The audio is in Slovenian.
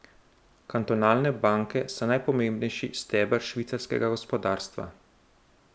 Kantonalne banke so najpomembnejši steber švicarskega gospodarstva.